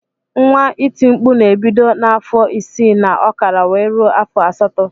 Nwa iti mkpụ na ebido na afọ isi na okara wee rue afọ asatọ.